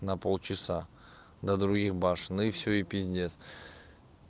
на полчаса до других башен и всё и пиздец